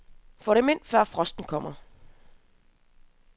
Få dem ind, før frosten kommer.